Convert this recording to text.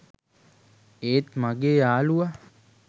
ඒත් මගේ යාලුවා